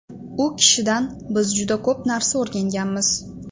U kishidan biz juda ko‘p narsa o‘rganganmiz.